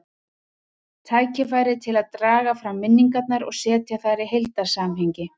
Tækifæri til að draga fram minningarnar og setja þær í heildarsamhengi.